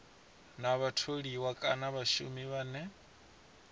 na vhatholiwa kana vhashumi vhane